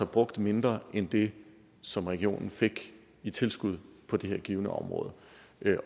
brugt mindre end det som regionen fik i tilskud på det her givne område